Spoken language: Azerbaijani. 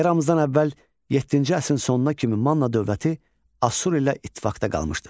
Eradan əvvəl yeddinci əsrin sonuna kimi Manna dövləti Asur ilə ittifaqda qalmışdır.